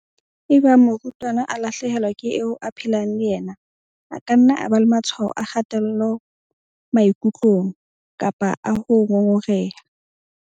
"Ebang morutwana a lahle helwa ke eo a phelang le yena, a ka nna a ba le matshwao a kgatello maikutlong kapa a ho ngongoreha."